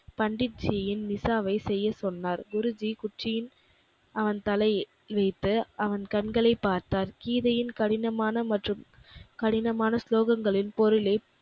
பண்டித்ஜியின் மிஷாவைச் செய்யச் சொன்னார். குருஜி குச்சியின் அவன் தலையில் வைத்து அவன் கண்களைப் பார்த்தார். கீதையின் கடினமான மற்றும் கடினமான ஸ்லோகங்களின் பொருளை,